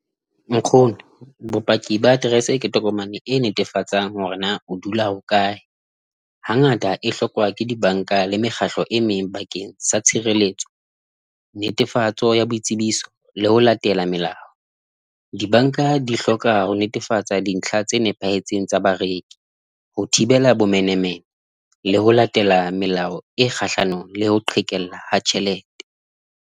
Nkgono bopaki ba aterese ke tokomane e netefatsang hore na o dula hokae hangata e hlokwa ke dibanka le mekgatlo e meng bakeng sa tshireletso, netefatso ya boitsebiso le ho latela melao. Dibanka di hloka ho netefatsa dintlha tse nepahetseng tsa bareki ho thibela bomenemene, le ho latela melao e kgahlanong le ho qhekella ha tjhelete.